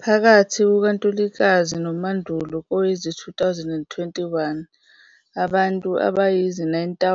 Phakathi kukaNtulikazi noMandulo kowezi-2021, abantu abayizi-9